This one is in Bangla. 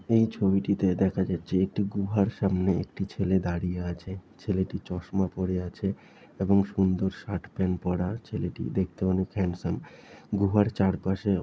এই ছবিটিতে দেখা যাচ্ছে একটি গুহার সামনে একটি ছেলে দাঁড়িয়ে আছে| ছেলেটি চশমা পরে আছে এবং সুন্দর শার্ট প্যান্ট পরা ছেলেটি দেখতে অনেক হ্যান্ডসাম | গুহার চারপাশে--